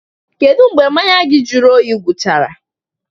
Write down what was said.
Kedu mgbe mmanya gị jụrụ oyi gwụchara?